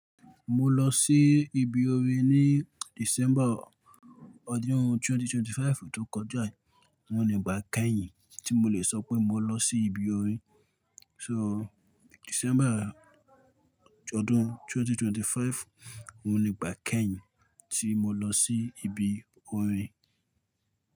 Mo lọ sí ibi orin ní December ọdún 2025 tó kọjá, òun ni ìgbà kẹ́yìn tí mo lè sọ pé mo lọ sí ibi orin. So December ọdún 2025 òun ni ìgbà kẹ́yìn tí mo lọ sí ibi orin.